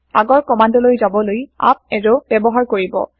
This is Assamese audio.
আগৰ কমান্দ লৈ যাবলৈ আপ এৰো ব্যৱহাৰ কৰিব